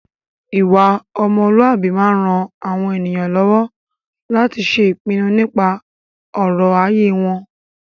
Ìwà ọmọlúàbí máa ń ran àwọn ènìyàn lọ́wọ́ láti ṣe ìpinu nípa ọ̀rọ̀ ayé wọn.